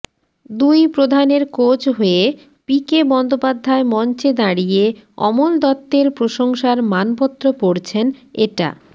দুই প্রধানের কোচ হয়ে পি কে বন্দ্যোপাধ্যায় মঞ্চে দাঁড়িয়ে অমল দত্তের প্রশংসার মানপত্র পড়ছেন এটা